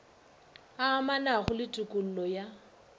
a amanago le tokollo ya